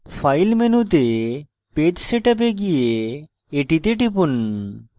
file মেনুতে page setup এ go এটিতে টিপুন